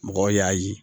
Mɔgɔw y'a ye